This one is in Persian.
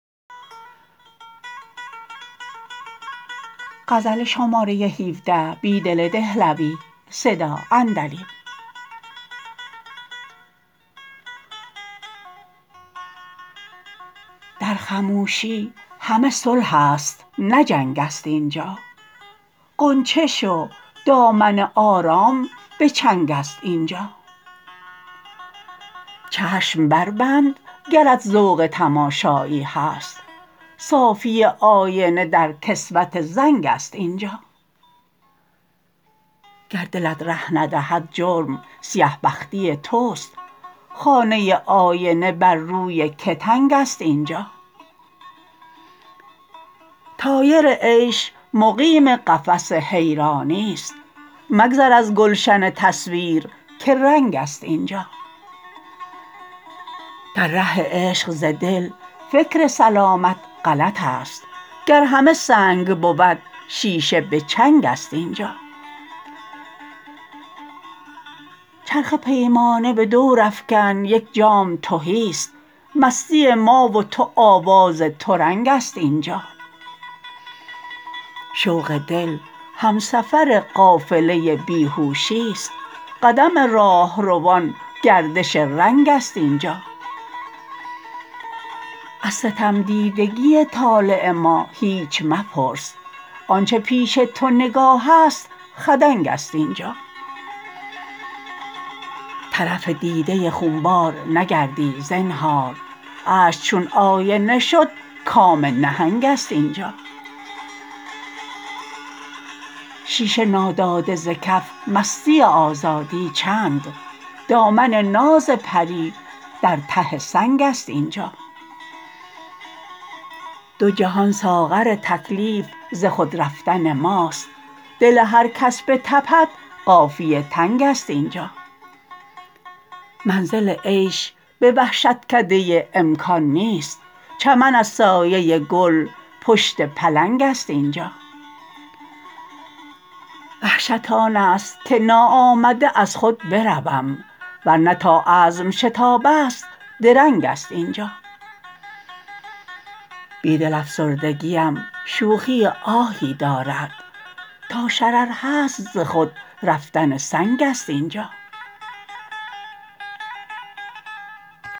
در خموشی همه صلح است نه جنگ است اینجا غنچه شو دامن آرام به چنگ است اینجا چشم بربند گرت ذوق تماشایی هست صافی آینه در کسوت زنگ است اینجا گر دلت ره ندهد جرم سیه بختی توست خانه آینه بر روی که تنگ است اینجا طایر عیش مقیم قفس حیرانی ست مگذر از گلشن تصویر که رنگ است اینجا در ره عشق ز دل فکر سلامت غلط است گر همه سنگ بود شیشه به چنگ است اینجا چرخ پیمانه به دور افکن یک جام تهی ست مستی ما و تو آواز ترنگ است اینجا شوق دل همسفر قافله بیهوشی ست قدم راهروان گردش رنگ است اینجا از ستمدیدگی طالع ما هیچ مپرس آنچه پیش تو نگاه است خدنگ است اینجا طرف دیده خونبار نگردی زنهار اشک چون آینه شد کام نهنگ است اینجا شیشه ناداده ز کف مستی آزادی چند دامن ناز پری در ته سنگ است اینجا دو جهان ساغر تکلیف ز خود رفتن ماست دل هرکس بتپد قافیه تنگ است اینجا منزل عیش به وحشتکده امکان نیست چمن از سایه گل پشت پلنگ است اینجا وحشت آن است که ناآمده از خود بروم ورنه تا عزم شتاب است درنگ است اینجا بیدل افسردگی ام شوخی آهی دارد تا شرر هست ز خود رفتن سنگ است اینجا